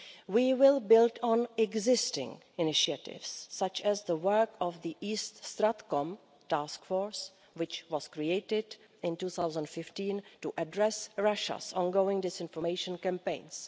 We will build on existing initiatives, such as the work of the East StratCom Task Force, which was created in 2015 to address Russia's ongoing disinformation campaigns.